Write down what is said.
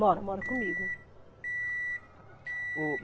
Moram, moram comigo. O